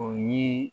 O ye